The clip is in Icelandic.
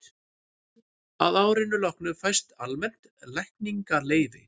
að árinu loknu fæst almennt lækningaleyfi